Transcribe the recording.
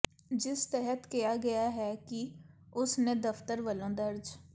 ਜਿਸ ਤਹਿਤ ਕਿਹਾ ਗਿਆ ਹੈ ਕਿ ਉਸ ਨੇ ਦਫਤਰ ਵੱਲੋਂ ਦਰਜ